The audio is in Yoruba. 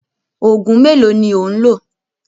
Òògùn mélòó ni ò ń lò?